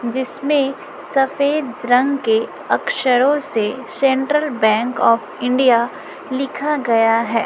जिसमें सफेद रंग के अक्षरों से सेंट्रल बैंक आफ इंडिया लिखा गया है।